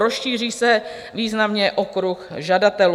Rozšíří se významně okruh žadatelů.